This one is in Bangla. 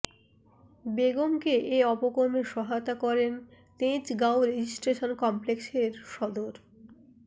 বেগমকে এ অপকর্মে সহায়তা করেন তেজগাঁও রেজিস্ট্রেশন কমপ্লেক্সের সদর